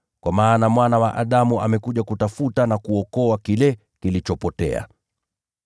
Kwa maana Mwana wa Adamu amekuja kutafuta na kuokoa kile kilichopotea.”